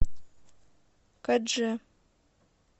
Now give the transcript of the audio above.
кодже